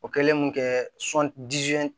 O kɛlen mun kɛ